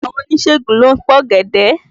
Àwọn oníṣègùn ló ń pògèdè.